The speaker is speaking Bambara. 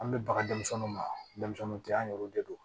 An bɛ baga denmisɛnninw ma denmisɛnninw tɛ an yɛruw de don